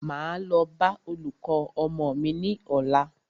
Máa lọ bá olùkọ́ ọmọ mí ní ọ̀la.